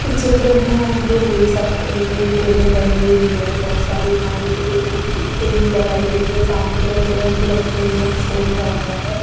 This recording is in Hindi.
इस चित्र में आप लोग देख सकते हैं कि एक टेबल लगी हुई है बहुत सारी खाने की टेबल के लिए लगाई गई है सामने जो है चेयर्स भी रखी हुई हैं एक स्टेज बना हुआ है।